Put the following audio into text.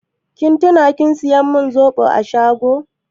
Kin tuna kin saya min zoɓo a shago?